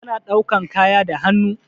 Ana ɗaukan kaya da hannu.